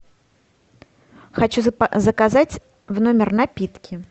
хочу заказать в номер напитки